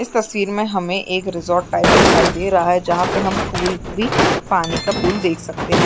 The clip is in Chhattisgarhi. इस तस्वीर में हमें एक रिसोर्ट टाइप दिखाई दे रहा है जहाँ पे हम पूल भी पानी का पूल देख सकते है।